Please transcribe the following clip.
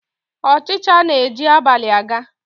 Ọchịcha na-eji abalị a ga